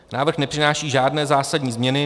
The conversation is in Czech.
Návrh nepřináší žádné zásadní změny.